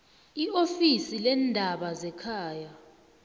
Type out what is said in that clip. iofisi leendaba zekhaya